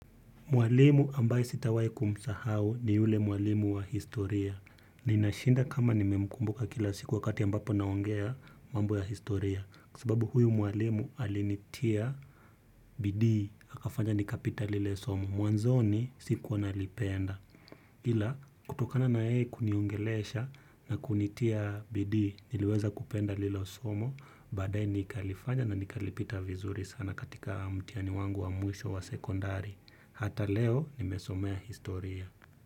Mwalimu ambaye sitawai kumsahau ni yule mwalimu wa historia. Ninashinda kama nimemkumbuka kila siku wakati ambapo naongea mambo ya historia. Kwa sababu huyu mwalimu alinitia bidii. Akafanya nikapita lile somo. Mwanzoni sikuwa nalipenda. Ila kutokana na yeye kuniongelesha na kunitia bidii niliweza kupenda lile somo. Baadae nikalifanya na nikalipita vizuri sana katika mtihani wangu wa mwisho wa sekondari. Hata leo nimesomea historia.